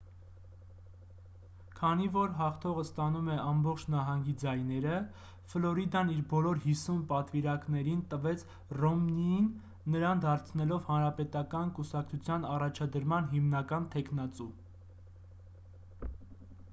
քանի որ հաղթողը ստանում է ամբողջ նահանգի ձայները ֆլորիդան իր բոլոր հիսուն պատվիրակներին տվեց ռոմնիին նրան դարձնելով հանրապետական կուսակցության առաջադրման հիմնական թեկնածու